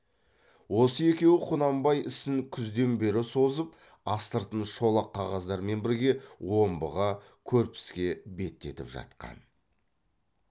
осы екеуі құнанбай ісін күзден бері созып астыртын шолақ қағаздармен бірге омбыға көрпіске беттетіп жатқан